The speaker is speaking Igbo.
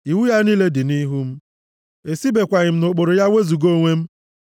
Iwu ya niile dị nʼihu m, esibekwaghị m nʼụkpụrụ ya wezuga onwe m.